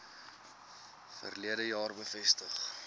verlede jaar bevestig